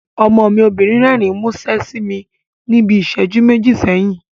Ọmọ mi obìnrin rẹ́rìn múṣẹ́ sí mi níbi ìsẹ́jú méjì sẹ́yìn